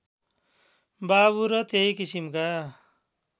बाबु र त्यही किसिमका